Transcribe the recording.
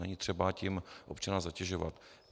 Není třeba tím občana zatěžovat.